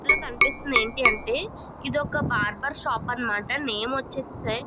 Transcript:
ఇక్కడ కనిపిస్తూ ఉన్నది ఏంటి అంటే ఇదొక బార్బర్ షాప్ అన్నమాట నేమ్ వచ్చేసి --